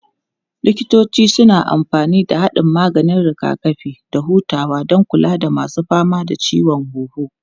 Likitoci suna amfani da haɗin maganin rigakafi da hutawa don kula da masu fama da ciwon huhu.